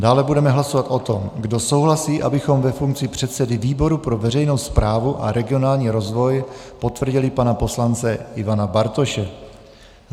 Dále budeme hlasovat o tom, kdo souhlasí, abychom ve funkci předsedy výboru pro veřejnou správu a regionální rozvoj potvrdili pana poslance Ivana Bartoše.